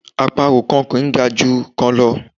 Àparò kan kò ga ju kan lọ